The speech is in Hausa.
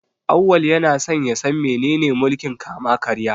Auwal yana son ya san menene mulkin kama-karya.